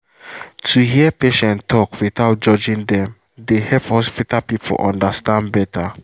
to hear patient talk without judging dem dey help hospital people understand better.